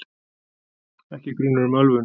Ekki er grunur um ölvun